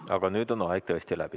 Aga nüüd on aeg tõesti läbi.